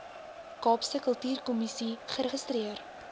kaapse kultuurkommissie geregistreer